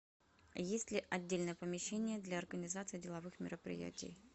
есть ли отдельное помещение для организации деловых мероприятий